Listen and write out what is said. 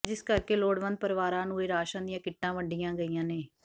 ਜਿਸ ਕਰਕੇ ਲੋੜਵੰਦ ਪਰਿਵਾਰਾਂ ਨੂੰ ਇਹ ਰਾਸ਼ਨ ਦੀਆਂ ਕਿੱਟਾਂ ਵੰਡੀਆਂ ਗਈਆਂ ਨੇ